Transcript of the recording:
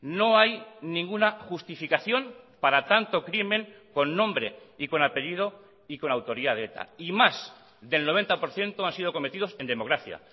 no hay ninguna justificación para tanto crimen con nombre y con apellido y con autoría de eta y más del noventa por ciento han sido cometidos en democracia